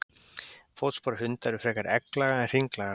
Fótspor hunda eru frekar egglaga en hringlaga.